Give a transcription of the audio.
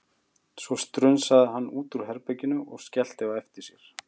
Svo strunsaði hann út úr herbeginu og skellti á eftir sér.